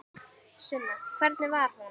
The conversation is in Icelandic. Sunna: Hvernig var hún?